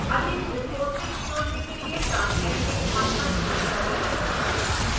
अधिक resources जोड़ने के लिए turn editing on पर क्लिक करें